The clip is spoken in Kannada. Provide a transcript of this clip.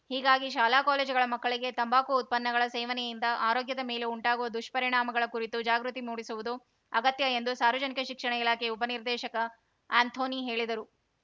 ಹೀಗಾಗಿ ಶಾಲಾ ಕಾಲೇಜುಗಳ ಮಕ್ಕಳಿಗೆ ತಂಬಾಕು ಉತ್ಪನ್ನಗಳ ಸೇವನೆಯಿಂದ ಆರೋಗ್ಯದ ಮೇಲೆ ಉಂಟಾಗುವ ದುಷ್ಪರಿಣಾಮಗಳ ಕುರಿತು ಜಾಗೃತಿ ಮೂಡಿಸುವುದು ಅಗತ್ಯ ಎಂದು ಸಾರ್ವಜನಿಕ ಶಿಕ್ಷಣ ಇಲಾಖೆ ಉಪನಿರ್ದೇಶಕ ಅಂಥೋನಿ ಹೇಳಿದರು